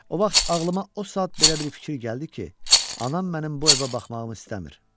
O vaxt ağlıma o saat belə bir fikir gəldi ki, anam mənim bu evə baxmağımı istəmir.